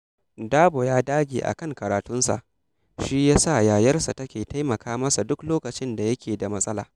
Dabo ya dage a kan karatunsa, shi ya sa yayarsa take taimaka masa duk lokacin da yake da matsala